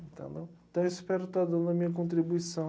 Então, né, então eu espero estar dando a minha contribuição.